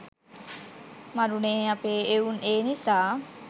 මරුනේ අපේ එවුන්.ඒ නිසා